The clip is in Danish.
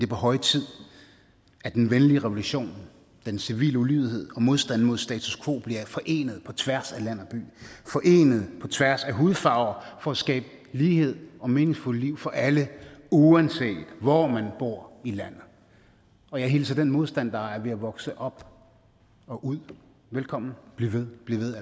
på høje tid at den venlige revolution den civile ulydighed og modstanden mod status quo bliver forenet på tværs af land og by forenet på tværs af hudfarve for at skabe lighed og meningsfulde liv for alle uanset hvor man bor i landet og jeg hilser den modstand der er ved at vokse op og ud velkommen bliv ved bliv ved